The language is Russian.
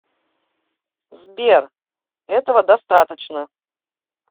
сбер этого достаточно